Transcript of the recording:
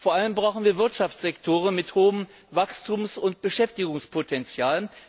Vor allem brauchen wir Wirtschaftssektoren mit hohem Wachstums und Beschäftigungspotenzial.